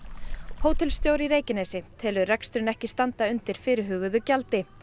hótelstjóri í Reykjanesi telur reksturinn ekki standa undir fyrirhuguðu gjaldi